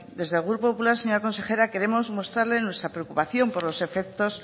desde el grupo popular señor consejera queremos mostrarle nuestra preocupación por los efectos